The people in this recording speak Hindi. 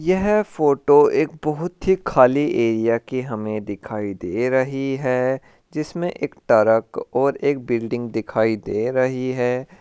यह फोटो हमे बहुत ही खाली एरिया की दिखाई दे रही है जिसमे के ट्रक और एक बिल्डिंग दिखाई दे रही है।